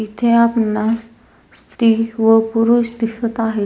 इथे आपणास स्त्री व पुरुष दिसत आहेत.